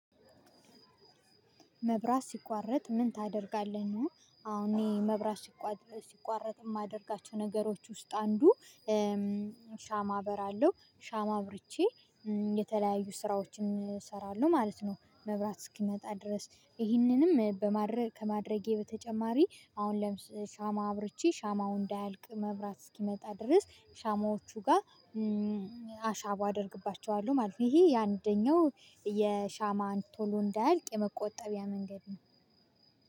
መብራት ሲቋረጥ ምን ታደርጋለህ ነው? አሁን እኔ መብራት ሲቋረጥ ሲቋረጥ የማደርጋቸው ነገሮች ውስጥ አንዱ ሻማ በራለሁ ሻማ ብርቼ የተለያዩ ስራዎችን እሰራለሁ ማለት ነው። መብራት እስኪመጣ ድረስ ይህንንም በማድረግ ከማድረጌ በተጨማሪ አሁን ለምሳሌ ሻማ አብርቼ ሻማው እንዳያልቅ መብራት እስኪመጣ ድረስ ሻማዎቹ ጋር አሻቦ አደርግባቸዋለሁ ማለት ነው። ይሄ የአንደኛው የሻማ ቶሎ እንዳይልቅ የመቆጠቢያ መንገድ ነው።